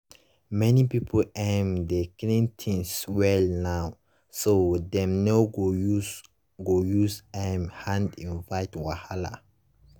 many people um dey clean things well now so dem no go use go use um hand invite wahala.